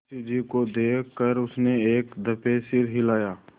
मुंशी जी को देख कर उसने एक दफे सिर हिलाया